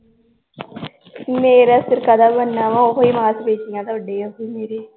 ਮੇਰਾ ਸਿਰ ਕਾਦਾ ਬਣਨਾ ਵਾ ਓਹੀ ਮਾਸ ਪੇਸ਼ੀਆਂ ਥੋਡੇ ਆ ਓਹੀ ਮੇਰੇ l